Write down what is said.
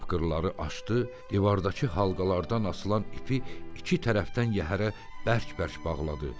Tapqırları açdı, divardakı halqalardan asılan ipi iki tərəfdən yəhərə bərk-bərk bağladı.